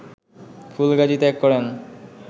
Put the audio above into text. ফুলগাজী ত্যাগ করেন